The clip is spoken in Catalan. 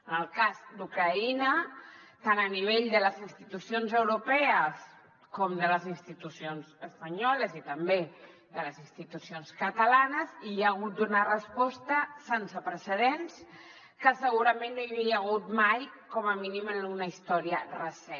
en el cas d’ucraïna tant a nivell de les institucions europees com de les institucions espanyoles i també de les institucions catalanes hi ha hagut una resposta sense precedents que segurament no hi havia hagut mai com a mínim en una història recent